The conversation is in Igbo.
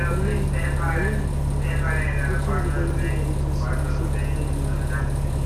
Olee Olee otú irubere ndị mụrụ gị isi ga-esi baara gị uru?